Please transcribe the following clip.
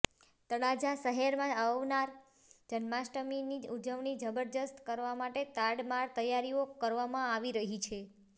તળાજા શહેરમાં આવનાર જન્માષ્ટમીની ઉજવણી જબરજસ્ત કરવા માટે તડામાર તૈયારીઓ કરવામાં આવી રહી છે